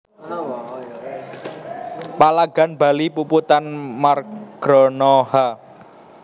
Palagan Bali Puputan Margarana h